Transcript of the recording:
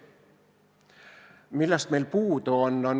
Millest meil puudu on?